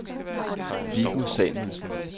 Viggo Samuelsen